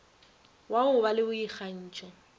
wa go ba le boikgantšho